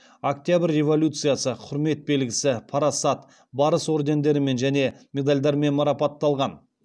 октябрь революциясы құрмет белгісі парасат барыс ордендерімен және медальдармен марапатталған